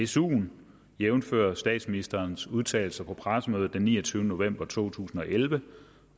suen jævnfør statsministerens udtalelser på pressemødet den niogtyvende november to tusind og elleve